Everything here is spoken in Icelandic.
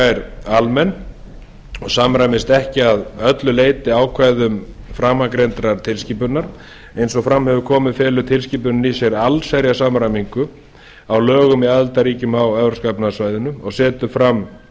er almenn og samræmist ekki að öllu leyti ákvæðum framangreindrar tilskipunar eins og fram hefur komið felur tilskipunin í sér allsherjar samræmingu á lögum í aðildarríkjum á evrópska efnahagssvæðinu og setur fram